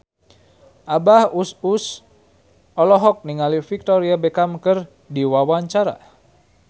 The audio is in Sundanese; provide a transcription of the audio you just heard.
Abah Us Us olohok ningali Victoria Beckham keur diwawancara